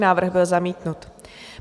Návrh byl zamítnut.